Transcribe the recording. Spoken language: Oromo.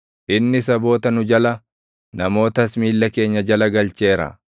Inni saboota nu jala, namootas miilla keenya jala galcheera.